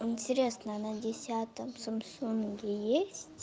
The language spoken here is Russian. интересно на десятом самсунге есть